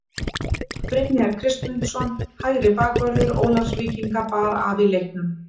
Brynjar Kristmundsson hægri bakvörður Ólafsvíkinga bar af í leiknum.